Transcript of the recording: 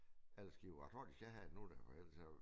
Alle skibe jeg tror de skal have nogle af dem ellers så der jo